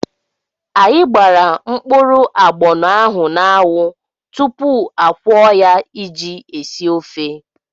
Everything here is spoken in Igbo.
Anyị gbara mkpụrụ agbọnọ ahụ n'anwụ tupu akwọọ ya iji esi ofe.